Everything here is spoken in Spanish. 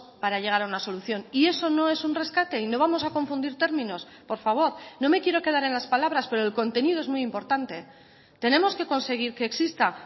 para llegar a una solución y eso no es un rescate y no vamos a confundir términos por favor no me quiero quedar en las palabras pero el contenido es muy importante tenemos que conseguir que exista